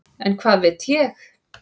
En hvað veit ég.